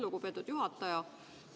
Lugupeetud juhataja!